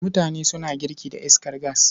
Mutane suna girki da iskar gas.